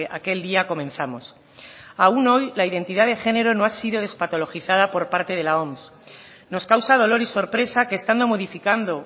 aquel día comenzamos aún hoy la identidad de género no ha sido despatologizada por parte de la oms nos causa dolor y sorpresa que estando modificando